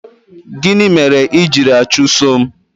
Gịnị mere i jiri achụso m?